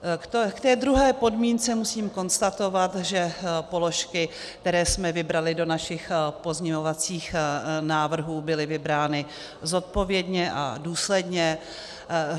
K té druhé podmínce musím konstatovat, že položky, které jsme vybrali do našich pozměňovacích návrhů, byly vybrány zodpovědně a důsledně.